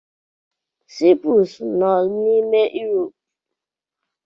Cyprus nọ n'ime Iirop.